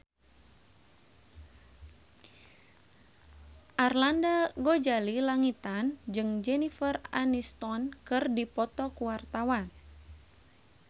Arlanda Ghazali Langitan jeung Jennifer Aniston keur dipoto ku wartawan